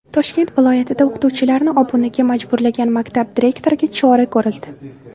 Toshkent viloyatida o‘qituvchilarni obunaga majburlagan maktab direktoriga chora ko‘rildi.